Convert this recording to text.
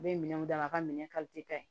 U bɛ minɛnw d'a ka minɛn ka ɲi